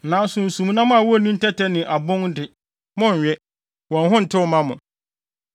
Nanso nsumnam a wonni ntɛtɛ ne abon de, monnwe. Wɔn ho ntew mma mo.